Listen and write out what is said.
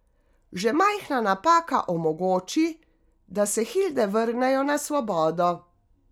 Že majhna napaka omogoči, da se hilde vrnejo na svobodo.